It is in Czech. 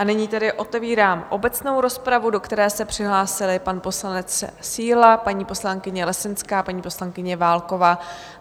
A nyní tedy otevírám obecnou rozpravu, do které se přihlásili pan poslanec Síla, paní poslankyně Lesenská, paní poslankyně Válková.